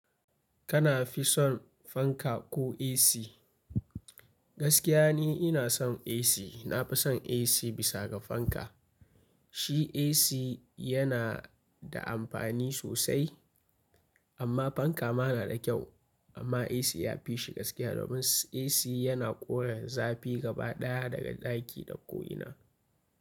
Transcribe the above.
Kana fi son fanka ko AC? Gaskiya ne ina son AC. Na fi son AC bisa ga fanka. Shi AC yana da amfani sosai amma fanka ma na da kyau. Amma AC ya fi shi gaskiya domin AC yana ƙore zafi gaba ɗaya daga ɗaki da ko ina.